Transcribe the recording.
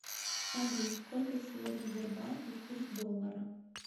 салют сколько сегодня в сбербанке курс доллара